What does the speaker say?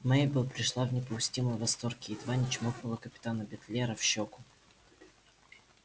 мейбелл пришла в неописуемый восторг и едва не чмокнула капитана битлера в щёку